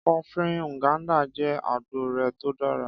Kọfí Nganda jẹ́ agboo rẹ̀ tó dára.